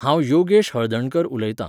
हांव योगेश हळदणकर उलयतां.